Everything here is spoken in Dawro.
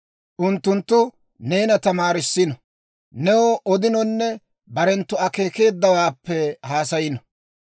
Unttunttu neena tamaarissino, new odinonne barenttu akeekeeddawaappe haasayino.